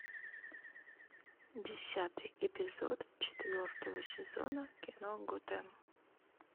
десятый эпизод четвертого сезона кино готэм